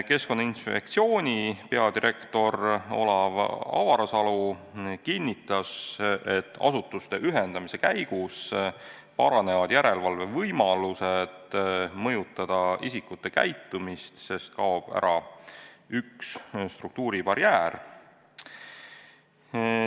Keskkonnainspektsiooni peadirektor Olav Avarsalu kinnitas, et asutuste ühendamise käigus paranevad võimalused järelevalve korras mõjutada isikute käitumist, sest kaob ära üks struktuuribarjäär.